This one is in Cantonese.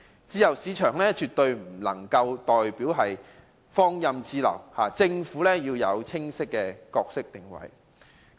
自由市場絕不代表放任自流，政府要有清晰的角色定位。